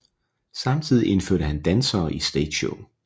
Samtidig indførte han dansere i stageshow